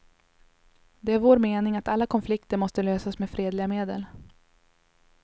Det är vår mening att alla konflikter måste lösas med fredliga medel.